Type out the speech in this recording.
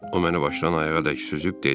O məni başdan ayağa dək süzüb dedi: